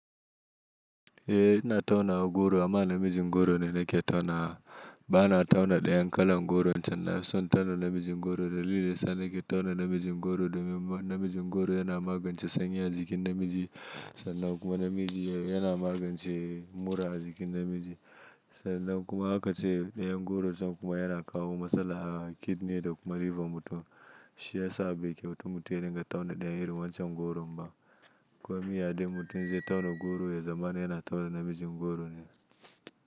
Eh ina tauna goro amma namijin goro ne nake tauna. Ba na tauna ɗayan kalan goro can, nafi son tauna namijin goro dalili sa nake tauna namijin goro domin namijin goro yana magance sanyi a jikin namiji sannan kuma namiji yana magance mura a jikin namiji sannan kuma haka ce ɗayan goron can kuma yana kawo matsala a kidney da kuma liver mutum. Shi ya sa bai kyautar mutum ya dinga tauna ɗayan irin wancan goron ba. Ko me ya ɗai mutum zai tauna goro ya zama yana tauna namijin goro ne.